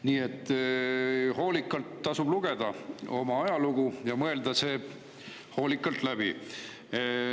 Nii et tasub lugeda hoolikalt ajaloo kohta ja mõelda see hoolikalt läbi.